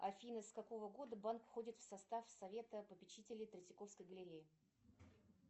афина с какого года банк входит в состав совета попечителей третьяковской галереи